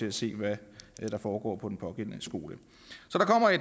at se hvad der foregår på den pågældende skole